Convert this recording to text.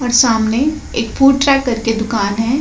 और सामने एक फ़ूड ट्रैक करके दुकान है।